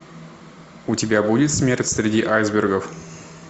у тебя будет смерть среди айсбергов